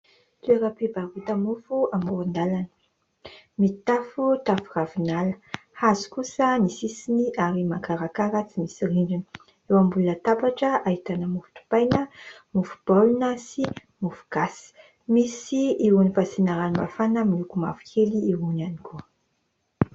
Toeram-pivarota-mofo amoron-dalana, mitafo tafo ravinala, hazo kosa ny sisiny ary makarakara tsy misy rindrina, eo ambony latabatra ahitana mofo dipaina, mofo baolina sy mofo gasy. Misy irony fasiana ranomafana miloko mavokely irony ihany koa.